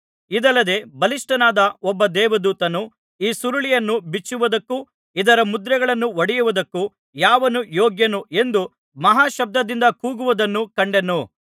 ಇದಲ್ಲದೆ ಬಲಿಷ್ಠನಾದ ಒಬ್ಬ ದೇವದೂತನು ಈ ಸುರುಳಿಯನ್ನು ಬಿಚ್ಚುವುದಕ್ಕೂ ಇದರ ಮುದ್ರೆಗಳನ್ನು ಒಡೆಯುವುದಕ್ಕೂ ಯಾವನು ಯೋಗ್ಯನು ಎಂದು ಮಹಾಶಬ್ದದಿಂದ ಕೂಗುವುದನ್ನು ಕಂಡೆನು